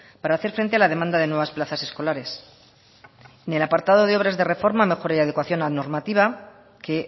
para hacer frente a la demanda de nuevas plazas escolares en el apartado de obras de reforma mejora de adecuación a la normativa que